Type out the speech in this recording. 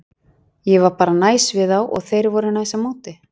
Ég var bara næs við þá og þeir voru næs á móti.